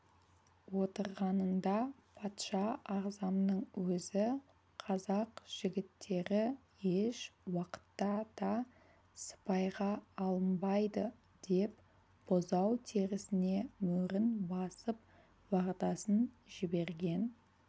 отырғанында патша ағзамның өзі қазақ жігіттері еш уақытта да сыпайға алынбайды деп бұзау терісіне мөрін басып уағдасын жіберген